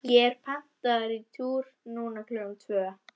ég er pantaður í túr núna klukkan tvö.